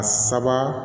A saba